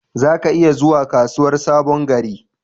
Za ka iya zuwa kasuwar Sabon gari.